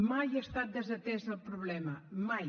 mai ha estat desatès el problema mai